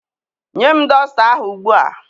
Nye m dọsta ahụ ugbu a!